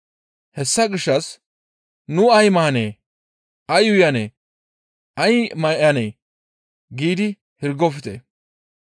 Hessa gishshas nu ay maanee? Ay uyanee? Ay may7anee? giidi hirgofte.